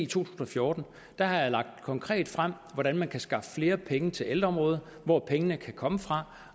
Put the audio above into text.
tusind og fjorten har jeg lagt konkret frem hvordan man kan skaffe flere penge til ældreområdet hvor pengene kan komme fra